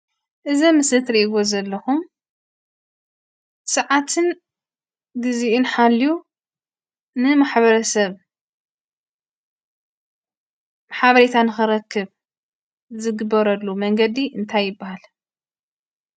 እዚ ኣብ ምስሊ እትርእይዎ ዘለኹም ስዓትን ግዚኡን ሓልዩ ንማሕበረሰብ ሓበሬታ ንኽረክብ ዝግበረሉ መንገዲ እንታይ ይብሃል?